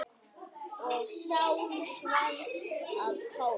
Og Sál varð að Páli.